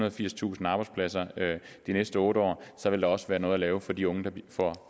og firstusind arbejdspladser de næste otte år så vil der også være noget at lave for de unge der får